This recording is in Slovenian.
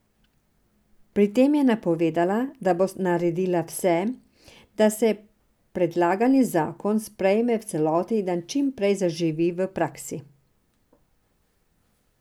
Pri tem je napovedala, da bo naredila vse, da se predlagani zakon sprejme v celoti in da čim prej zaživi v praksi.